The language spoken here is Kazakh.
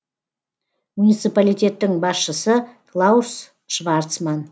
муниципалитеттің басшысы клаус шварцман